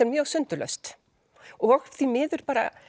mjög sundurlaust og því miður